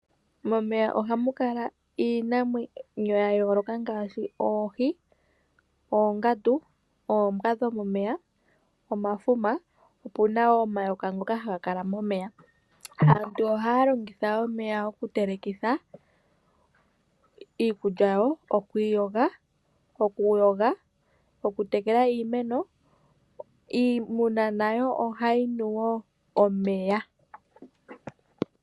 Momeya ohamu kala iinamwenyo yayooloka ngaashi, oohi, oongandu, oombwa dhomomeya, omafuma opu na wo omayoka ngoka haga kala momeya. Aantu ohaya longitha omeya okutelekitha iikulya yawo okwiiyoga, okuyoga , okutekela iimeno. Iimuna nayo ohayi nu wo omeya.